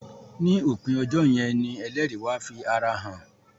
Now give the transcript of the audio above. ni opin ejó yén ní ẹlẹri wá fí àrà hàn